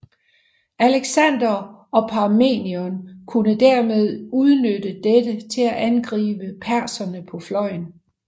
Alexander og Parmenion kunne dermed udnytte dette til at angribe perserne på fløjen